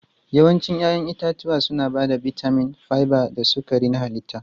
Yawancin 'ya'yan itatuwa suna ba da bitamin, fiber da sukari na halitta.